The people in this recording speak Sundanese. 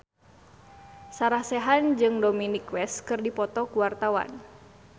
Sarah Sechan jeung Dominic West keur dipoto ku wartawan